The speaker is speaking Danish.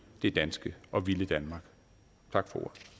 det danske og at ville danmark tak